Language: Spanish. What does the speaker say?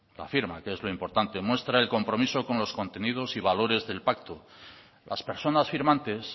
la firma que es lo importante muestra el compromiso con los contenidos y valores del pacto las personas firmantes